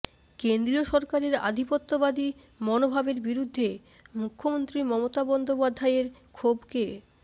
কেন্দ্রীয় সরকারের আধিপত্যবাদী মনোভাবের বিরুদ্ধে মুখ্যমন্ত্রী মমতা বন্দ্যোপাধ্যায়ের ক্ষোভকে